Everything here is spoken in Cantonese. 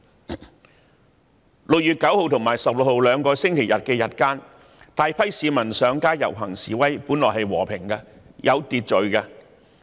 在6月9日和16日兩個星期日日間，大批市民上街遊行示威，看來是和平及有秩序的。